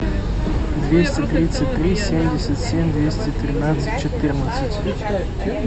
двести тридцать три семьдесят семь двести тринадцать четырнадцать